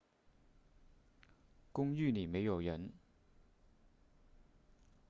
公寓里没有人